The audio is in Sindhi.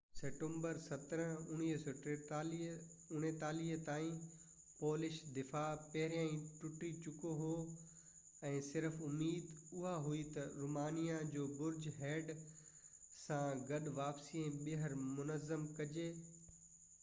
سيپٽمبر 17 1939 تائين پولش دفاع پهريان ئي ٽٽي چڪو هو ۽ صرف اميد اها هئي ته رومانيا جي برج هيڊ سان گڏ واپسي ۽ ٻيهر منظم ڪجي